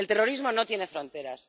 El terrorismo no tiene fronteras.